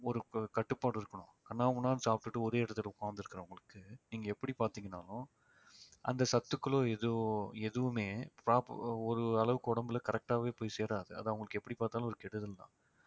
ஒரு கட்டுப்பாடு இருக்கணும் கன்னா பின்னானு சாப்பிட்டுட்டு ஒரே இடத்துல உட்கார்ந்திருக்கிறவங்களுக்கு நீங்க எப்படி பார்த்தீங்கனாலும் அந்த சத்துக்களோ எதோ எதுவுமே prop~ ஒரு அளவுக்கு உடம்புல correct ஆவே போய் சேராது அது அவங்களுக்கு எப்படி பார்த்தாலும் ஒரு கெடுதல்தான்